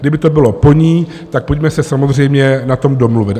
Kdyby to bylo po ní, tak pojďme se samozřejmě na tom domluvit.